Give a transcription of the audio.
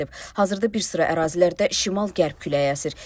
Hazırda bir sıra ərazilərdə şimal-qərb küləyi əsir.